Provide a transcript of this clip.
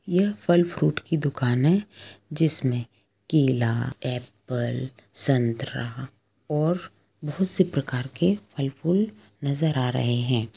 यह फल फ्रूट की दुकान है जिसमे केला एप्पल संतरा और बहुत से प्रकार के फल फूल नजर आ रहे हैं।